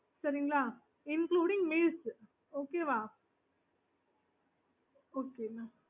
okay mam thank you thankyou mamokay okay நீங்க இப்ப meals